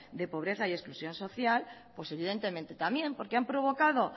de pobreza y exclusión social pues evidentemente también porque han provocado